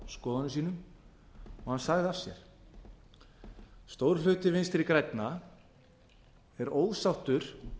skoðunum sínum og hann sagði af sér stór hluti vinstri grænna er ósáttur